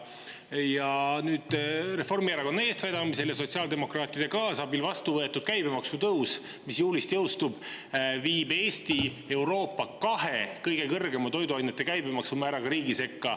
Ja nüüd on Reformierakonna eestvedamisel ja sotsiaaldemokraatide kaasabil vastu võetud käibemaksu tõus, mis juulist jõustub ja viib Eesti Euroopa kahe kõige kõrgema toiduainete käibemaksu määraga riigi sekka.